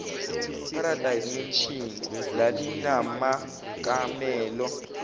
paradise mansion lalinamakamelo